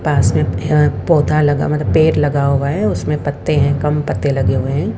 पास में अह पौधा लगा मतलब पेड़ लगा हुआ है उसमें पत्ते हैं कम पत्ते लगे हुए हैं।